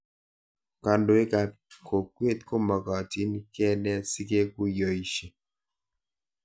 Kandoik ab kokwet ko magatin kenet sikekuyoishe